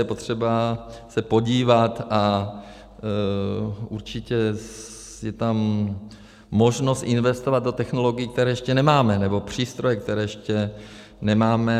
Je potřeba se podívat a určitě je tam možnost investovat do technologií, které ještě nemáme, nebo přístrojů, které ještě nemáme.